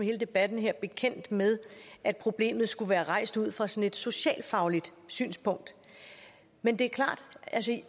her debat er bekendt med at problemet skulle være rejst ud fra et sådant socialfagligt synspunkt men det er klart at